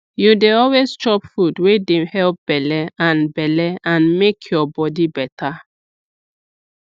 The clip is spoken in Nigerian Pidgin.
you dey always chop food wey dey help belle and belle and make your body better